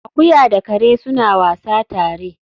Akuya da kare suna wasa tare